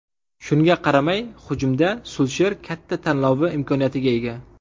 Shunga qaramay, hujumda Sulsher katta tanlovi imkoniyatiga ega.